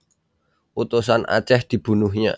Utusan Aceh dibunuhnya